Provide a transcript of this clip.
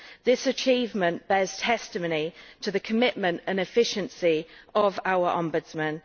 This achievement bears testimony to the commitment and efficiency of our Ombudsman.